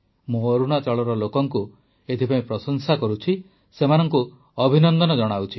ମୁଁ ଅରୁଣାଚଳର ଲୋକଙ୍କୁ ଏଥିପାଇଁ ପ୍ରଶଂସା କରୁଛି ସେମାନଙ୍କୁ ଅଭିନନ୍ଦନ ଜଣାଉଛି